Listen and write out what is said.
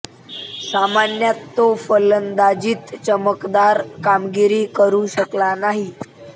सामन्यात तो फलंदाजीत चमकदार कामगिरी करू शकला नाही